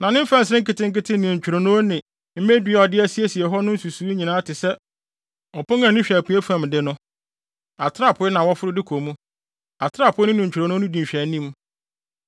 Na ne mfɛnsere nketenkete ne ntwironoo ne mmedua a ɔde asiesie hɔ no no nsusuwii nyinaa te sɛ ɔpon a ani hwɛ apuei fam de no. Atrapoe na wɔforo de kɔ mu, atrapoe no ne ntwironoo no di nhwɛanim.